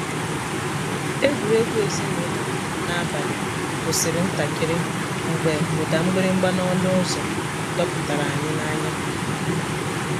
egwuregwu ezinụlọ n’abalị kwụsịrị ntakịrị mgbe ụda mgbịrịgba n’ọnụ ụzọ dọpụtara anyị n’anya.